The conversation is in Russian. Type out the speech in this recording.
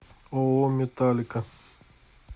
ооо металлика